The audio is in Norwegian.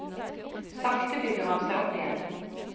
Sakte bygger han seg opp igjen.